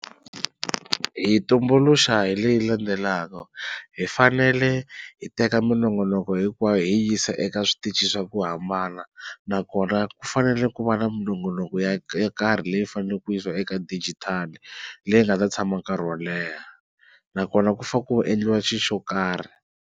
Hi yi tumbuluxa hi leyi landzelaka hi fanele hi teka minongonoko hinkwayo hi yi yisa eka switichi swa ku hambana nakona ku fanele ku va na minongonoko yo karhi leyi faneleke ku yisawa eka dijitali leyi nga ta tshama nkarhi wo leha nakona ku fane ku endliwa xi xo karhi.